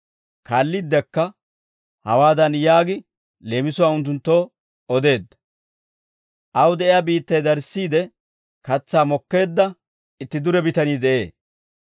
Kaalliiddekka hawaadan yaagi leemisuwaa unttunttoo odeedda: «Aw de'iyaa biittay darissiide katsaa mokkeedda itti dure bitanii de'ee.